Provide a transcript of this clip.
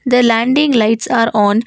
the landing lights are on.